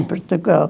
Em Portugal.